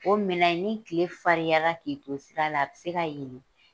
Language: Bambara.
O minɛn in ni tile fariyara k'i to sira la, a be se ka yelen.